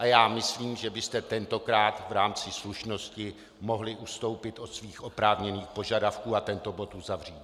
A já myslím, že byste tentokrát v rámci slušnosti mohli ustoupit od svých oprávněných požadavků a tento bod uzavřít.